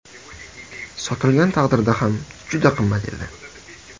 Sotilgan taqdirda ham juda qimmat edi.